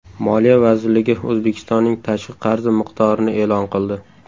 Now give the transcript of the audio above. Moliya vazirligi O‘zbekistonning tashqi qarzi miqdorini e’lon qildi.